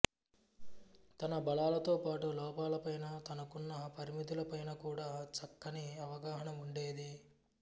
తన బలాలతో పాటు లోపాలపైనా తనకున్న పరిమితులపైనా కూడా చక్కని అవగాహన ఉండేది